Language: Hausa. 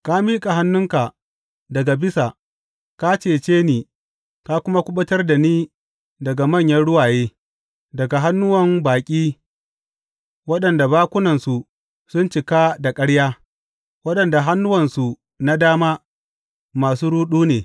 Ka miƙa hannunka daga bisa; ka cece ni ka kuma kuɓutar da ni daga manyan ruwaye, daga hannuwan baƙi waɗanda bakunansu sun cika da ƙarya, waɗanda hannuwansu na dama masu ruɗu ne.